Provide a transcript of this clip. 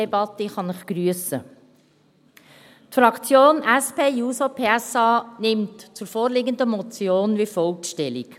Die SP-JUSO-PSA-Fraktion nimmt zur vorliegenden Motion wie folgt Stellung: